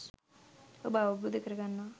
ඔබ අවබෝධ කරගන්නවා.